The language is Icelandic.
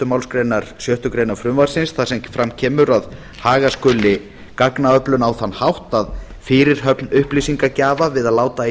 málsgrein sjöttu greinar frumvarpsins þar sem fram kemur að haga skuli gagnaöflun á þann hátt að fyrirhöfn upplýsingagjafa við að láta í